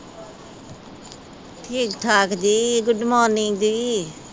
ਠੀਕ-ਠਾਕ ਜੀ। Good morning ਜੀ।